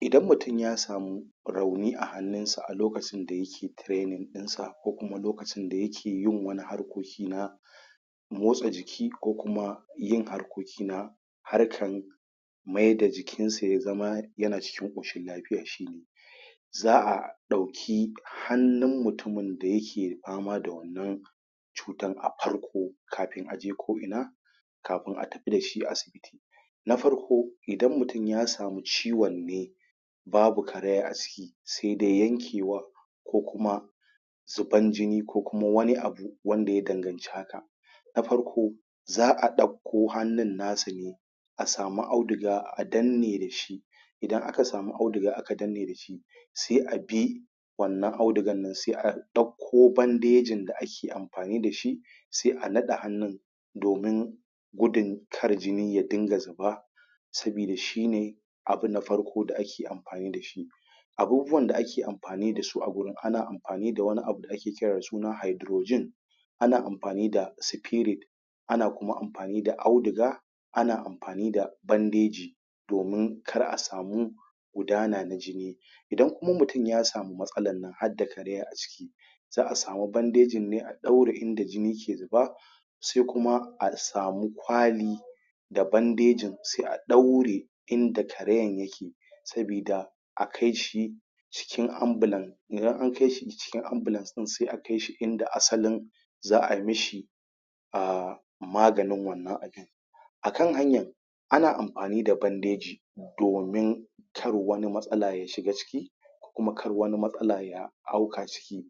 Idan mutum ya samu rauni a hannunsa a lokacin da yake training ɗinsa ko kuma lokacin da yake yin harkoki na motsa jiki ko kuma yin harkoki na harkan mayda da jikin su yana cikin ƙoshin lafiya shine. Za'a ɗauki hannun mutumin da yake fama da wannan cutan a farko kafi a je ko'ina kafin a tafi da asibiti na farko, idan mutum ya sami ciwon ne babu karaya a ciki sai dai yanke war ko kuma zuban jini ko kuma wani abu wanda ya danganta da haka, na farko, za'a ɗauko hannun na sa ne a sami audiga a danne da shi idana aka sami audiga aka danne da shi, sai a bi wannan audigan nan sai a ɗau ko bandejin da ake amfani da shi sai a naɗe hannun domin gudun kar jini ya dinga zuba, sabida shine abu na farko da ake amfani da shi. Abubuwan da ake amfani da su a gurin ana mafani da wani abu da ake kira da suna hydrogen ana amfani da spirit, ana kuma amfani da audiga, ana amfani da bandeji, domin kar a samu gudana na jini. Idan kuma mutum ya samu matsalan nan harda karaya a ciki, za'a sami bandejinne a ɗaure inda jini ke zuba, sai kuma a sami kwali, da bandejin sai a ɗaure inda karayan yake, sabida a kai shi cikin anbulan, idan an kai shi cikin anbulance ɗin sai akai shi inda asalin za ai mishi ahhhh maganin wannan abin Akan hanyan ana amfani da bandeji domin kar wani matsala ya shiga ciki kuma kar wani matsala ya auka ciki,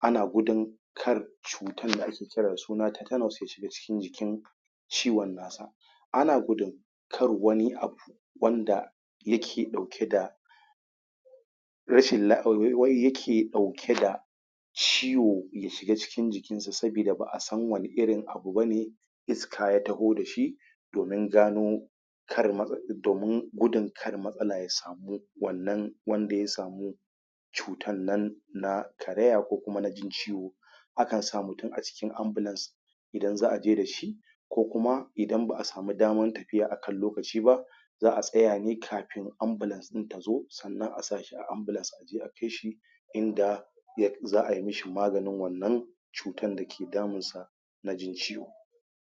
ana gudun kar cutan da ake kira da sune teternus ya shiga cikin jikin ciwon nasa. Ana gudun kar wani abu wanda yake ɗauke da rashin,,,wai yake ɗauke da ciwo ya shiga cikin jikinsa sabida ba a san wanne irin abu bane iska ya taho da shi, domin gano, domin gudun kar matsala ya samu wannan wanda ya samu cutar nan na karaya ko kuma na jin ciwo. A kan sa mutum a cikin ambulance idan za'a je da shi ko kuma idan ba'a sami daman tafiya da shi akan lokaci ba, za'a tsaya ne kafin ambulance ɗin ta zo, sannan a sa shi a ambulance a je a kai shi inda za ai mishi maganin wannan cutan da ke damunsa na jin ciwo.